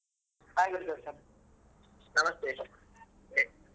Hai Gurudarshan ನಮಸ್ತೇ